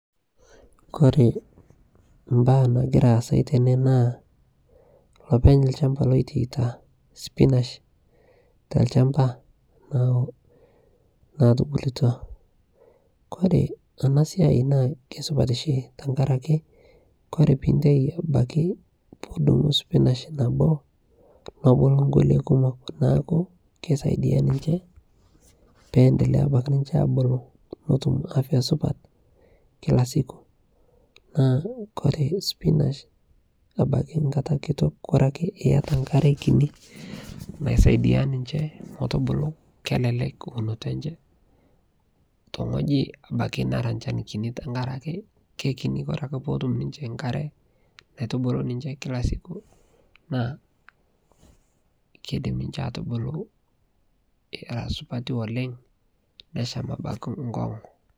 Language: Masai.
Kore baaya nagira aasai tene naa loopeng' lchaamba loteita sipinaash ta lchaamba nau natubulutua. Kore ana siai naa kesipaat shii tengaraki kore piitei abaki piidung' spinaash nebuluu nkule kumook naaku naa keisaidia ninchee abuluu notuum afya supaat kila siku naaku kore sipinaash abaki nkaata kitook kore ake eiyeta nkaare nkitii naisaidia ninchee meetubuluu. Kelelek eunotoo enchee too ng'ojii abaki naara lchaan kitii tang'araki kekinii. Ore ake pee otum ninchee nkaare naitubulu ninchee kila siku naa keidim ninchee atubuluu era supaati oleng neshaam abaki nkoong'u.